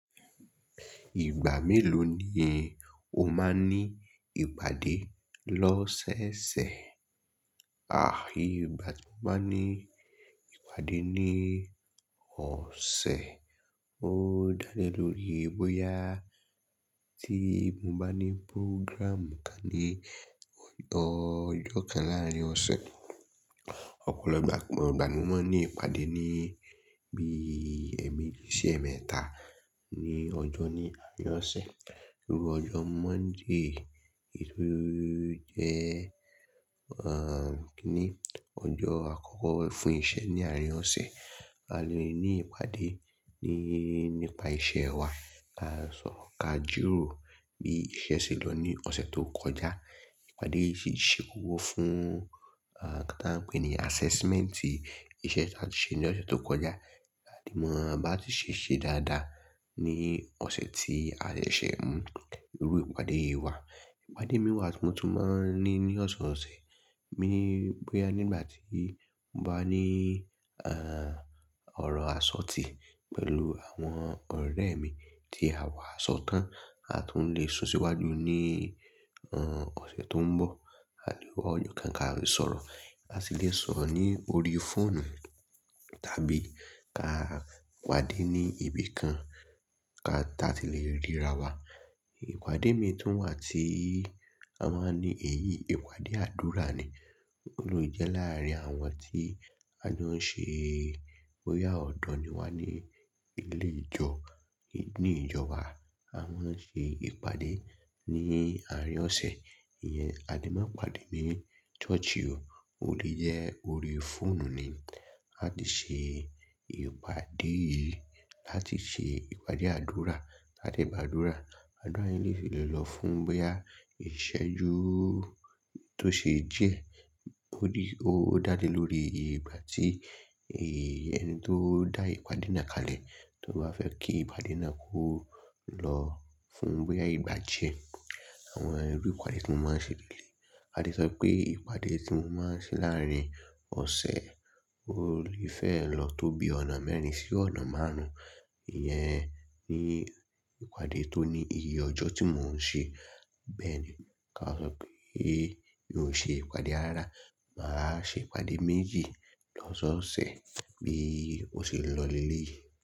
Ìgbà mélòó ni o máa ní ìpàdé lọ́sẹ̀ẹsẹ̀? Àí ìgbà tí mo máa ń ní ìpàdé ní ọ̀sẹ̀, ó dá lé lórí bóyá tí mo bá ní pórọ́gràmú kan ní ọjọ́ kan láàrín ọ̀sẹ̀. Ọ̀pọ̀lọpọ̀ ìgbà ni mo máa ní ìpàdé ní bí ẹ̀ẹ̀mejì sí ẹ̀ẹ̀mẹ́ta ní ọjọ́ ní àárín ọ̀sẹ̀. Irú ọjọ́ Monday, èyí ló jẹ́, ní ọjọ́ àkọ́kọ́ fún iṣẹ́ ní àárín ọ̀sẹ̀. A lè ní ìpàdé nípa iṣẹ́ wa, à sọ̀rọ̀ ka jiro bí iṣẹ́ ṣe lọ ní ọ̀sẹ̀ tó kọjá. Ìpàdé yìí sì ṣe kókó fún nǹkan tí a ń pè é ní assessment ìṣe tí a ṣe ní ọ̀sẹ̀ tó kọjá. A ti mọ bí a tún ṣe ṣe dáadáa ní ọ̀sẹ̀ tí a de ṣẹ̀ mu irú ìpàdé yi wa. Ìpàdé mìí wa tí mo tún máa ń ní ní ọ̀sọ̀ọ̀sẹ̀, bí i bóyá nígbà tí mo bá ní, ọ̀rọ̀ àsọtí pẹ̀lú àwọn ọ̀rẹ́ mi tí àwa á sọ tán àtún lè sún síwájú ní, ọ̀sẹ̀ tó ń bọ̀. A lè wá ọjọ́ kan kí a fi sọ̀rọ̀, a sì lè sọ̀rọ̀ ní orí fóònù tàbí ká pàdé ní ibi kan kí a tàti lè ríra wa. Ìpàdé mìí tún wà tí a máa ń ní èyí, ìpàdé àdúrà ni. Ó ló jẹ́ láàrín àwọn tí a jọ ń ṣe bóyá ọ̀dọ́ ni wà ní nilé ìjọ, ní ìjọ wa a máa ń ṣe ìpàdé ní àárín ọ̀sẹ̀. Ìyẹn, a de máa ń pàdé ní church o, ó lè jẹ́ orí fóònù ni. Ká lè ṣe ìpàdé yìí láti ṣe ìpàdé àdúrà, láti gbá àdúrà. Àdúrà yẹn lè fi yen llọ fún bóyá ìṣẹ́ ju tó ṣe díẹ̀. Ó dá lé lórí ìgbà tí èyí ẹni tó dá ìpàdé náà kalẹ̀ tó bá fẹ́ kí ìpàdé náà kó lọ fún bóyá ìgbà díẹ̀. Àwọn irú ìpàdé tí mo máa ń ṣe lélẹ̀yii. A de sọ wípé ìpàdé tí mo máa ń ṣe láàrín ọ̀sẹ̀ ó lè fẹ́ lọ tóbi ọ̀nà mẹ́rin sí ọ̀nà márùn-ún. Ìyẹn ni ìpàdé tó ní iye ọjọ́ tí mò ń ṣe. Bẹ́ẹ̀ ni ká sọ pé n ò ṣe ìpàdé rárá. Màá ṣe ìpàdé méjì lọ́sọọ̀sẹ̀ bí ó ṣe ń lọ lélẹ̀yii.